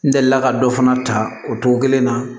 N delila ka dɔ fana ta o cogo kelen na